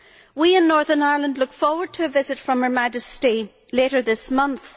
We in Northern Ireland look forward to a visit from Her Majesty later this month.